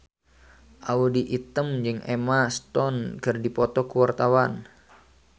Audy Item jeung Emma Stone keur dipoto ku wartawan